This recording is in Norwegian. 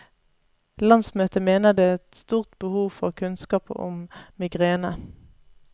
Landsmøtet mener det er et stort behov for kunnskap om migrene.